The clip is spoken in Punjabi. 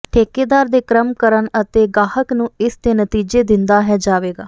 ਠੇਕੇਦਾਰ ਦੇ ਕ੍ਰਮ ਕਰਨ ਅਤੇ ਗਾਹਕ ਨੂੰ ਇਸ ਦੇ ਨਤੀਜੇ ਦਿੰਦਾ ਹੈ ਜਾਵੇਗਾ